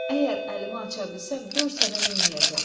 Əgər əlimi aça bilsəm, gör sənə neyləyəcəm.